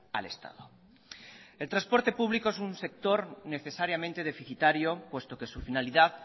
al estado el transporte público es un sector necesariamente deficitario puesto que su finalidad